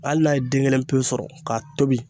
Hali n'a ye den kelen pewu sɔrɔ k'a tobi.